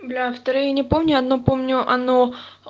бля вторые не помню оно помню оно